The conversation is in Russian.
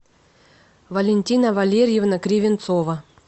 валентина валерьевна кривинцова